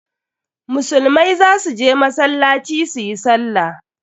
Musulmai za su je masallaci su yi sallah.